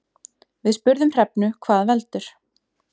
Við spurðum Hrefnu hvað veldur.